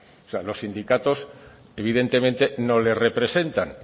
o sea los sindicatos evidentemente no les representan